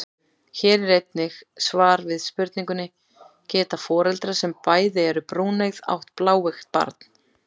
Hér er einnig svar við spurningunni: Geta foreldrar sem bæði eru brúneygð átt bláeygt barn?